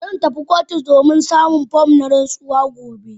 Zan tafi kotu domin samun form na rantsuwa gobe.